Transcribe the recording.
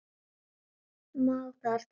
Má þar til nefna